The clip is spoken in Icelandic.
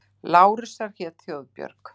Lárusar hét Þorbjörg.